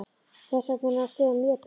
Hvers vegna er hún að skrifa mér bréf?